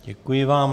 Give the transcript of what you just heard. Děkuji vám.